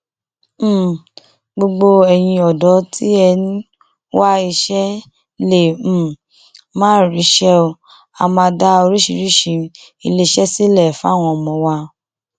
um gbogbo ẹyin ọdọ tí ẹ ń wá iṣẹ lè um máa ríṣẹ á máa dá oríṣiríṣiì iléeṣẹ sílẹ fáwọn ọmọ wa